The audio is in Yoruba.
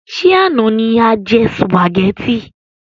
Ṣé àna ni a jẹ sùpàgétì?